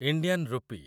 Indian ରୂପୀ